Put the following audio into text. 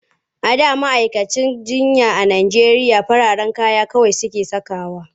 A da ma'aikatan jinya a Najeriya farin kaya kawai suke sakawa.